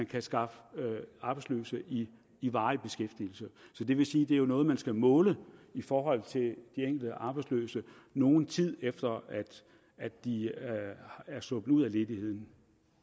kan skaffe arbejdsløse i i varig beskæftigelse det vil sige at det er noget man skal måle i forhold til de enkelte arbejdsløse nogen tid efter at de er sluppet ud af ledigheden